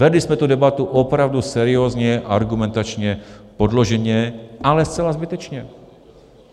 Vedli jsme tu debatu opravdu seriózně, argumentačně, podloženě, ale zcela zbytečně.